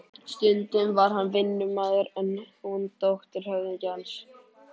Stundum var hann vinnumaður en hún dóttir höfðingjans.